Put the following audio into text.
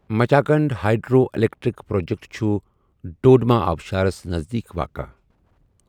Machkund hydro electric project چھُ ڈڈوما آبشارس نذدیٖک واقع۔